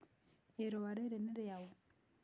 Ĩrũa rĩrĩ nĩ rĩaũ?